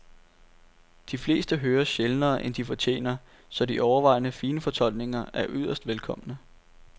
De fleste høres sjældnere end de fortjener, så de overvejende fine fortolkninger er yderst velkomne.